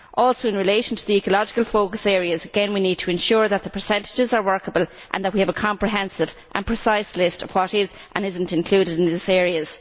Also in relation to the ecological focus areas, again we need to ensure that the percentages are workable and that we have a comprehensive and precise list of what is and what is not included in these areas.